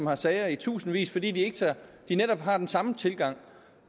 har sager i tusindvis fordi de de netop har den samme tilgang